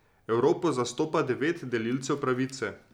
Evropo zastopa devet delilcev pravice.